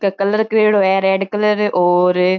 के कलर करियोडो है रेड कलर और --